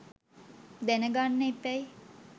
දැන ගන්න එපැයි.